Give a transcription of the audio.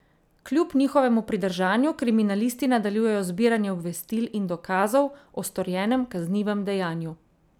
Kljub njihovemu pridržanju kriminalisti nadaljujejo zbiranje obvestil in dokazov o storjenem kaznivem dejanju.